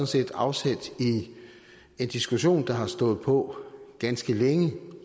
set tager afsæt i en diskussion der har stået på ganske længe